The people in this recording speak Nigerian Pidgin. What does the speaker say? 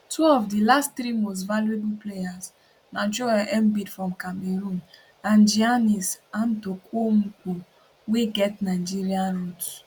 two of di last three most valuable players na joel embiid from cameroon and giannis antetokounmpo wey get nigerian roots